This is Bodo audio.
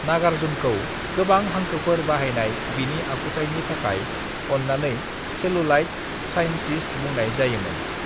नागार्जुनखौ गोबां हांखोफोर बाहायनाय बिनि आखुथायनि थाखाय अन्नानै 'सेलुलॉयड साइंटिस्ट' बुंनाय जायोमोन।